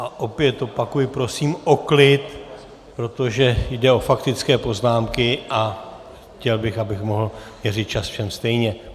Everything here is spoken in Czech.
A opět opakuji, prosím o klid, protože jde o faktické poznámky a chtěl bych, abych mohl měřit čas všem stejně.